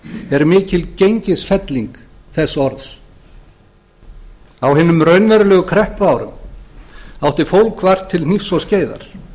er mikil gengisfelling þess orðs á hinum raunverulegu kreppuárum átti fólk vart til hnífs og skeiðar